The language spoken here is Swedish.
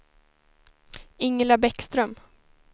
Ingela Bäckström